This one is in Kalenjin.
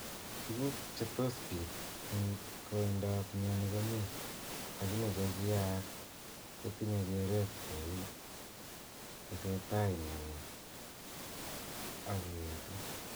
Tuguk che tos pit ing koindop mioni komii, lakini che kiaak ko tinye keret ko u tesetai mioni ako etu.